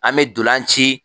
An me donlan ci